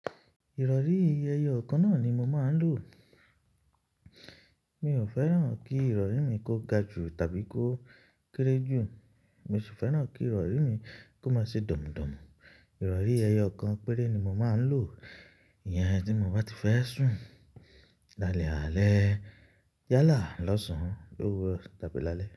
Ìrọ̀rí ẹyọ kan náà ni mo máa ń lò. Mi ò fẹ́ràn kí ìrọ̀rí mi kó ga jù tàbí kó kéré jù, mo sì fẹ́ràn kí ìrọ̀rí mi kó má ṣe dọmùdọmù. Ìrọ̀rí ẹyọ kan péré ni mo máa ń lò, ìyẹn tí mo bá ti fẹ́ sùn. Lálẹ́ àlẹ́ yálà lọ́sàn-án, lówurọ tàbí lálẹ́.